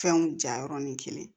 Fɛnw ja yɔrɔnin kelen